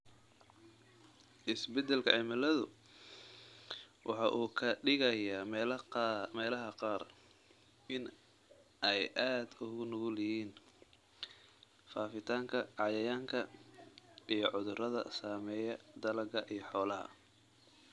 Isbeddelka cimiladu waxa uu ka dhigayaa meelaha qaar in ay aad ugu nugul yihiin faafitaanka cayayaanka iyo cudurrada saameeya dalagyada iyo xoolaha.